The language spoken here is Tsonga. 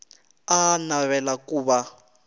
a a navela ku va